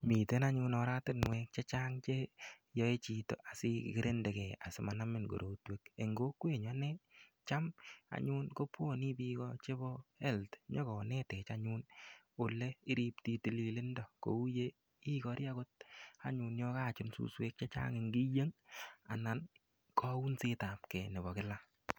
Miten anyun oratinwek chechang' cheyoei chito asikirindegei asimanamin korotwek eng' kokwenyu ane cham anyun kobwoni biko chebo health nyikonetech anyun ole iripti tililindo kou ye ikori akot anyun yo kakochun suswek chechang' eng' kiyeng anan kaunsetab kei nebo kila